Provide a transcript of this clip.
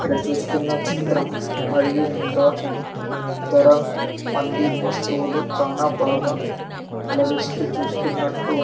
ఇక్కడ చూస్తున్న చిత్రం మరియు ఇంకా ఇతర మంది వస్తవులు చానా బాగా అలరిస్తూ చూస్తున్నట్టు--